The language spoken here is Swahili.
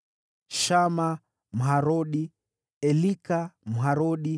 Shama, Mharodi; Elika, Mharodi;